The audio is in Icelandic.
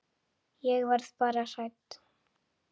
Ég verð bara hrædd.